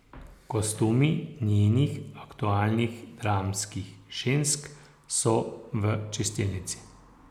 Kostumi njenih aktualnih dramskih žensk so v čistilnici.